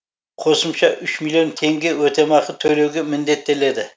қосымша үш миллион теңге өтемақы төлеуге міндеттеледі